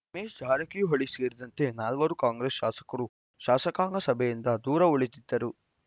ರಮೇಶ್‌ ಜಾರಕಿಹೊಳಿ ಸೇರಿದಂತೆ ನಾಲ್ವರು ಕಾಂಗ್ರೆಸ್‌ ಶಾಸಕರು ಶಾಸಕಾಂಗ ಸಭೆಯಿಂದ ದೂರ ಉಳಿದಿದ್ದರು